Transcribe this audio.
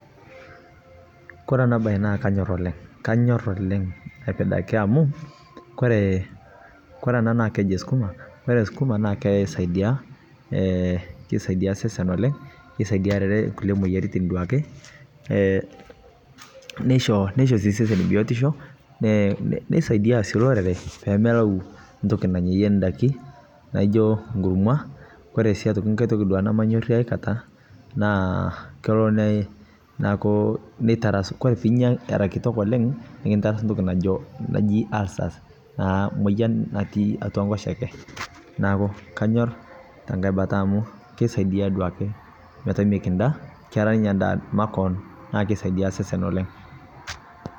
Kore ena bae naa kanyor oooleng kanyor oooleng aipidaki amu kore ee amu keji kuna sukuma naa eisaidia eee keisaidia osesen oooleng kisaidia kulie moyiaritin teduake ee nisho si osesen biotisho, ee nisaidia si lorere pee melau toki namyayie daiki najo kurma, kore si nkae toki namanyorie akata kelo neaku nitaras kore pee inya kitok oooleng neata toki naji ulcers na moyian natii atua nkoshoke niaku anyor te nkae bata amu kisaidia duoke metaa ekida naa edaa duoake makoon na kesaidia osesen oooleng.